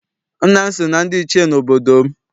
Nna m si na ndị Ichie n'obodo m.